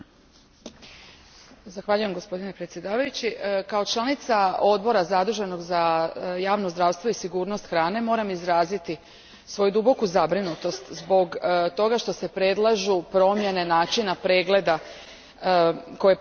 Gospodine predsjedavajući, kao članica odbora zaduženog za javno zdravstvo i sigurnost hrane moram izraziti svoju duboku zabrinutost zbog toga što se predlažu promjene načina pregleda, koje predlaže Europska komisija.